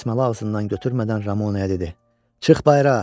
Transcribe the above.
Dəsmalı ağzından götürmədən Ramonaya dedi: Çıx bayıra!